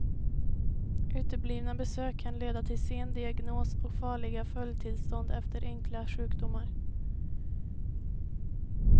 Uteblivna besök kan leda till sen diagnos och farliga följdtillstånd efter enkla sjukdomar.